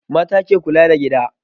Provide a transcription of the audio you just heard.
Mata ke kula da gida